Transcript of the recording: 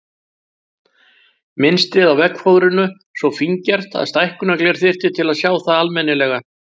Mynstrið á veggfóðrinu svo fíngert að stækkunargler þyrfti til að sjá það almennilega.